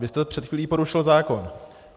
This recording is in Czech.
Vy jste před chvílí porušil zákon.